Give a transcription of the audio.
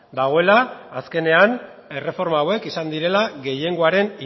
dagoela azkenean erreforma hauek izan direla gehiengoaren